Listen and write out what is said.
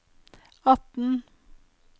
atten